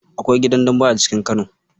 Akwai gidan Dembe a cikin Kano.